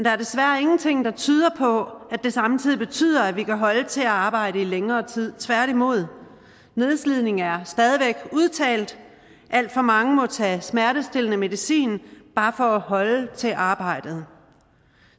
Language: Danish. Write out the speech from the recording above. er desværre ingenting der tyder på at det samtidig betyder at vi kan holde til at arbejde i længere tid tværtimod nedslidning er stadigvæk udtalt alt for mange må tage smertestillende medicin bare for at holde til arbejdet